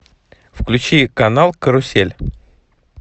включи канал карусель